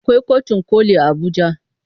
Akwai kotun koli a Abuja.